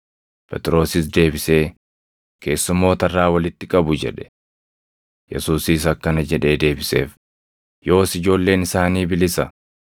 Phexrosis deebisee, “Keessummoota irraa walitti qabu” jedhe. Yesuusis akkana jedhee deebiseef; “Yoos ijoolleen isaanii bilisa.